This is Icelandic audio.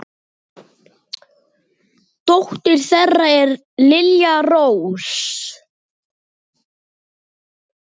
Dóttir þeirra er Lilja Rós.